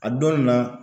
A dɔn nin na